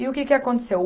E o que que aconteceu?